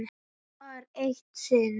Það var eitt sinn.